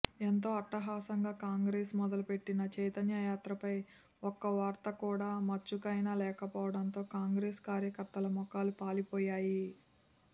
ఎంతో అట్టహాసంగా కాంగ్రెస్ మొదలు పెట్టిన చైతన్యయాత్రపై ఒక్క వార్త కూడా మచ్చుకైనా లేకపోవడంతో కాంగ్రెస్ కార్యకర్తల మొఖాలు పాలిపోయాయి